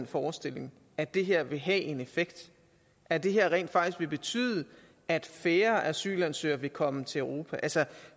forestilling at det her vil have en effekt at det rent faktisk vil betyde at færre asylansøgere vil komme til europa